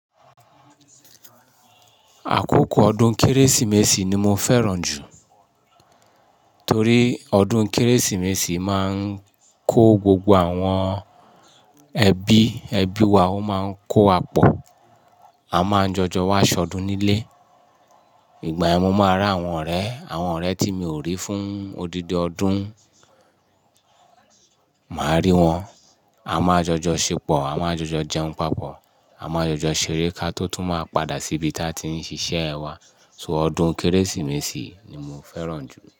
Àkókò ọdún kérésìmesì ni mo fẹ́ràn jù torí ọdún kérésìmesì máa ń kó gbogbo àwọn ẹbí, ẹbí wa ó máa ń kó wà pọ̀, a máa ń jọjọ wá ṣọdún nílé. Ìgbà ẹ mu máa rà àwọn ọ̀rẹ́, àwọn ọ̀rẹ́ tí mi ò rí fún odidi ọdún, màá rí wọn. A máa jọjọ ṣépọ̀, a máa jọjọ jẹun papọ̀, a máa jọjọ ṣeré ká tó tún máa padà sí ibi tí a ti ń ṣiṣẹ́ ẹ wa. So ọdún kérésìmesì ni mo fẹ́ràn jù.